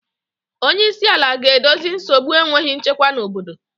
Onye isi ala ga-edozi nsogbu enweghị nchekwa na obodo